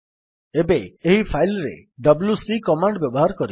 ଏବେ ଏହି ଫାଇଲ୍ ରେ ଡବ୍ଲ୍ୟୁସି କମାଣ୍ଡ୍ ବ୍ୟବହାର କରିବା